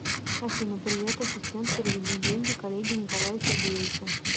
афина привет ассистент переведи деньги коллеге николаю сергеевичу